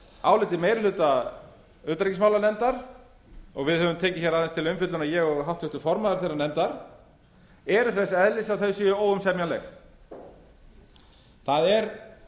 áliti meiri hluta utanríkismálanefndar og við höfum tekið aðeins til umfjöllunar ég og háttvirtur formaður þeirrar nefndar eru þess eðlis að þau séu óumsemjanleg það er